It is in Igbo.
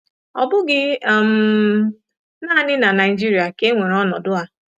Ọ bụghị um nanị na Naịjirịa ka e nwere ọnọdụ a.